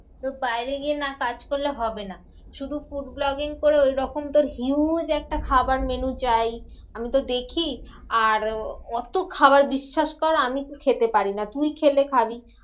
তোর বাইরে গিয়ে না কাজ করলে হবে না। শুধু food vlogging করে ওইরকম তোর huge একটা খাবার menu চাই। আমিতো দেখি আর অত খাবার বিশ্বাস কর আমি খেতে পারিনা, তুই খেলে খাবি।